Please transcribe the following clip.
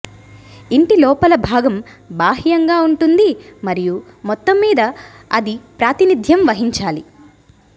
ఇంటి లోపలి భాగం బాహ్యంగా ఉంటుంది మరియు మొత్తంమీద అది ప్రాతినిధ్యం వహించాలి